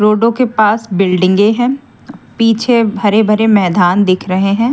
रोडों के पास बिल्डिंगें हैं पीछे भरे भरे मैदान दिख रहे हैं।